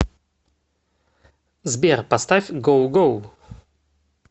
сбер поставь гоу гоу